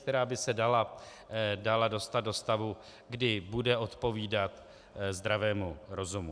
Která by se dala dostat do stavu, kdy bude odpovídat zdravému rozumu.